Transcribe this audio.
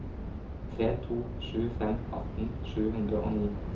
tre to sju fem atten sju hundre og ni